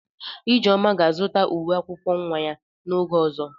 Ijeoma ga-azụta uwe ụlọ akwụkwọ nwa ya n'oge ọzọ.